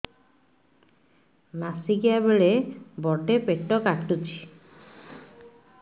ମାସିକିଆ ବେଳେ ବଡେ ପେଟ କାଟୁଚି